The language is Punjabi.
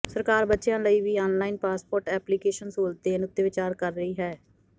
ਸਰਕਾਰ ਬੱਚਿਆਂ ਲਈ ਵੀ ਆਨਲਾਈਨ ਪਾਸਪੋਰਟ ਐਪਲੀਕੇਸ਼ਨ ਸਹੂਲਤ ਦੇਣ ਉਤੇ ਵਿਚਾਰ ਕਰ ਰਹੀ ਹੈ